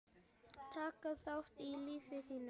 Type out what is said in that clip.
Taktu til í lífi þínu!